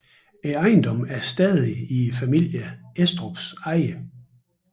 Ejendommen er stadig i familien Estrups eje